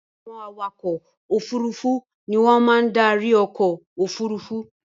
Àwọn awakọ̀ òfurufú ni wọ́n máa ń darí ọkọ̀-òfurufú.